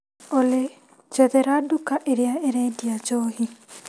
Olĩ njethera nduka ĩrĩa ĩrendia njohi.